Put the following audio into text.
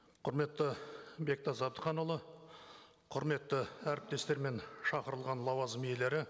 құрметті бектас әбдіханұлы құрметті әріптестер мен шақырылған лауазым иелері